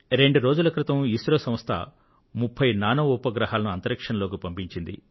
రెండు రోజుల క్రితం ఇస్రో సంస్థ 30 నానో ఉపగ్రహాలను అంతరిక్షంలోకి పంపించింది